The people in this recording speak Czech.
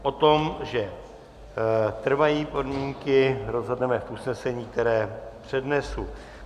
O tom, že trvají podmínky, rozhodneme v usnesení, které přednesu.